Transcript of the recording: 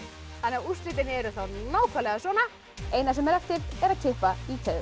úrslitin eru þá nákvæmlega svona eina sem er eftir er að kippa í keðjurnar